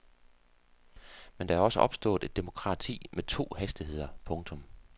Men der er også opstået et demokrati med to hastigheder. punktum